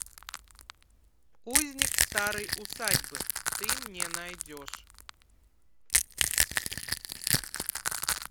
узник старой усадьбы ты мне найдешь